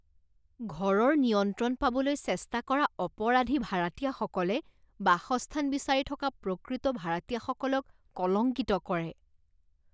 ঘৰৰ নিয়ন্ত্ৰণ পাবলৈ চেষ্টা কৰা অপৰাধী ভাৰাতীয়াসকলে বাসস্থান বিচাৰি থকা প্ৰকৃত ভাৰাতীয়াসকলক কলংকিত কৰে।